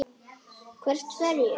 Hvert fer ég?